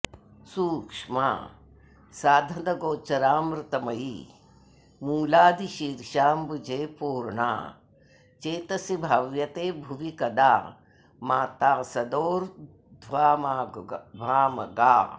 सूक्ष्मा साधनगोचरामृतमयी मूलादिशीर्षाम्बुजे पूर्णा चेतसि भाव्यते भुवि कदा माता सदोर्द्ध्वामगा